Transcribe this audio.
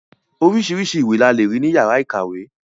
Oríṣiríṣi ìwé la lè rí ní yàrá ìkàwé.